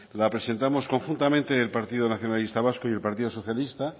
la presentamos conjuntamente el partido nacionalista vasco y el partido socialista